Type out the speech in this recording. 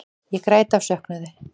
Ég græt af söknuði.